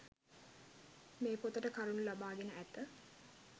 මේ පොතට කරුණු ලබා ගෙන ඇත